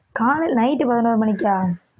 காலையி~ night பதினோரு மணிக்கா